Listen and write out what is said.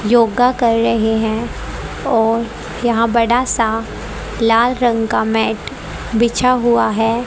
योगा कर रहे हैं और यहां बड़ा सा लाल रंग का मैट बिछा हुआ है।